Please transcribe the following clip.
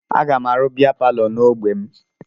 Aga m arụ bịa palọ n'ogbe m